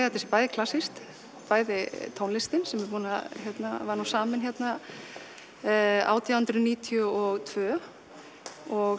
þetta sé bæði klassískt bæði tónlistin sem var samin átján hundruð níutíu og tvö og